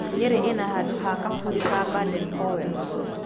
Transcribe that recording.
Nyeri ĩna handũ ha kaburi ha Baden Powell.